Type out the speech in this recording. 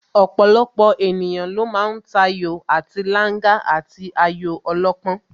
Ọ̀pọ̀lọpọ̀ ènìyàn ló ma ń tayò àti Langa àti ayò ọlọ́pọ́n